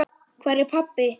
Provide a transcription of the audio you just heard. Hvar er pabbi?